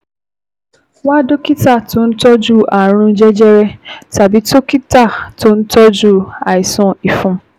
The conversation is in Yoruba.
Wá dókítà tó ń tọ́jú ààrùn jẹjẹrẹ tàbí dókítà tó ń tọ́jú àìsàn ìfun